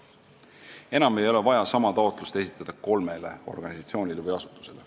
Enam ei ole vaja esitada sama taotlust kolmele organisatsioonile või asutusele.